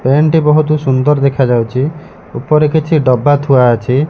Pant ଟି ବହୁତ୍ ସୁନ୍ଦର ଦେଖାଯାଉଚି ଉପରେ କିଛି ଡବା ଥୁଆ ଅଛି।